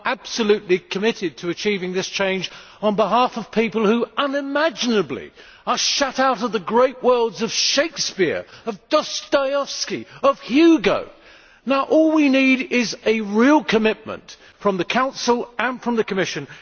You are absolutely committed to achieving this change on behalf of people who unimaginably are shut out of the great worlds of Shakespeare, Dostoevsky and Hugo. All we need is a real commitment from the Council and the Commission.